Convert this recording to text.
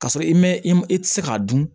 K'a sɔrɔ i ma i ti se k'a dun